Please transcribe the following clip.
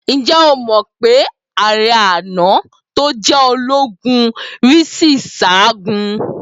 Ǹjẹ́ o mọ̀ pé ààrẹ àná, tó jẹ́ ológun rí sì sáagun?